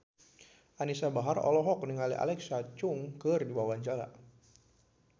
Anisa Bahar olohok ningali Alexa Chung keur diwawancara